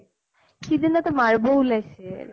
সিদিনাটো মাৰ বʼ ওলাইছিল।